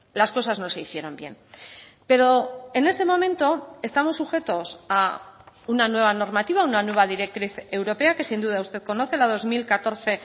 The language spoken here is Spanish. las cosas no se hicieron bien pero en este momento estamos sujetos a una nueva normativa una nueva directriz europea que sin duda usted conoce la dos mil catorce